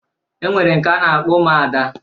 E nwere nke a na-akpọ Ụmụada.